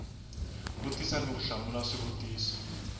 vutisa ni ku hlamula swivutiso